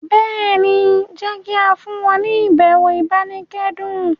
béèni jé ki a fún wọn ni ibẹwo ibanikẹdun.